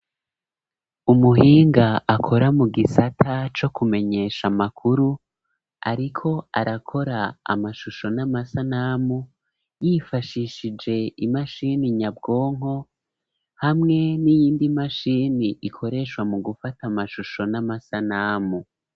Umuhinga akora mu gisata co kumenyesha amakuru, ariko arakora amashusho n'amasanamu yifashishije imashini nyabwonko hamwe n'iyindi mashini ikoreshwa mu gufata amashusho n'amasanamu.